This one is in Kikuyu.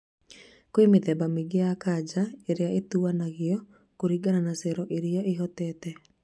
Kwĩ mĩthemba mĩingĩ ya kanja rĩrĩa ĩtanagio kũringana na cero irĩa ihutĩtio